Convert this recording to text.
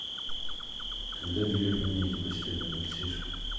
когда белье поменяете постельное консьерж